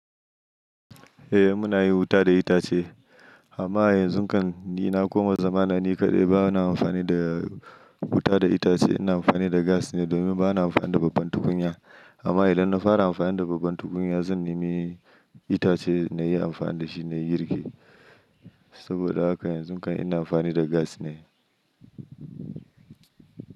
Eh muna yi wuta da itace amma yanzun kan ni na koma zamanani kaɗai bana amfani da wuta da itace ina amfani da gas ne domin bana amfani da babban tukunya amma idan na fara amfani da babban tukunya zan nemi itace nayi amfani da shi nayi girki saboda haka yanzun kai ina amfani da gas ne.